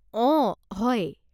অ, হয়।